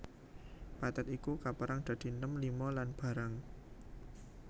Pathet iku kapérang dadi Nem Lima lan Barang